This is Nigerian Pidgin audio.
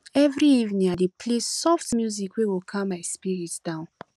every evening i dey play soft music wey go calm my spirit down